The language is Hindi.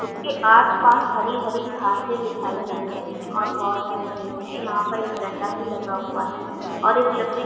उसके आस-पास हरी-हरी घासें दिखाई दे रहीं हैं और बहोत सारे पेड़ है। यहाँ पर एक डंडा भी लगा हुआ है और एक लकड़ी --